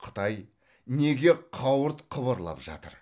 қытай неге қауырт қыбырлап жатыр